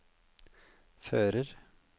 fører